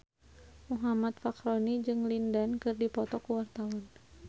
Muhammad Fachroni jeung Lin Dan keur dipoto ku wartawan